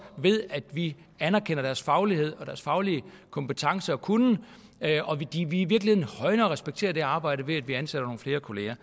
ved at vi anerkender deres faglighed og deres faglige kompetencer og kunnen og at vi virkelig højner og respekterer det arbejde ved at vi ansætter nogle flere kollegaer